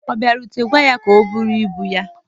ọ bịarutere, gwa ya ka o bụrụ ibu ya